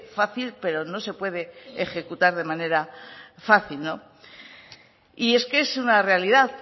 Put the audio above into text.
fácil pero no se puede ejecutar de manera fácil y es que es una realidad